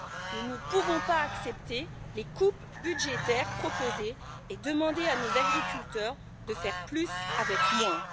Nous ne pouvons pas accepter les coupes budgétaires proposées et demander à nos agriculteurs de faire plus avec moins.